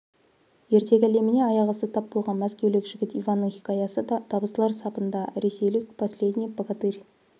ертегі әлеміне аяқ асты тап болған мәскеулік жігіт иванның хикаясы да табыстылар сапында ресейлік последний богатырь